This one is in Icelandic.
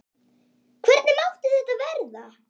Hvernig mátti þetta verða?